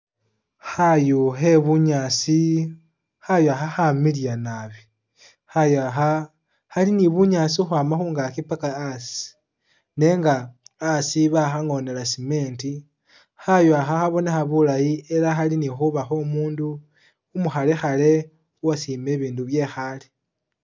Khayu khe bunyaasi, khayu akha khamiliya nabi. Khayu akha khali ni bunyaasi ukhwama khungaki paka asi nenga asi bakhangonela cement. Khayu akha khabonekha bulayi ela khali ni khuba kho'omundu umukhalekhale uwasiima ibindu bye khaale.